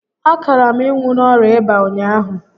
A kaara m ịnwụ n'orịa ịba ụnyaahụ